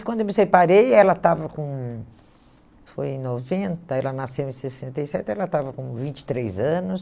E quando eu me separei, ela estava com... Foi em noventa, ela nasceu em sessenta e sete, ela estava com vinte e três anos.